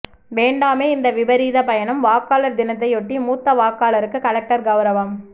ேவண்டாமே இந்த விபரீத பயணம் வாக்காளர் தினத்தையொட்டி மூத்த வாக்காளருக்கு கலெக்டர் கவுரவம்